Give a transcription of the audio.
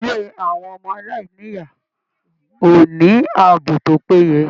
Ilé àwọn ọmọ-aláìní-ìyá ò ní ààbò tó péye.